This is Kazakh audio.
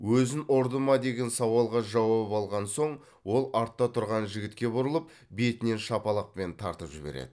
өзін ұрды ма деген сауалға жауап алған соң ол артта тұрған жігітке бұрылып бетінен шапалақпен тартып жібереді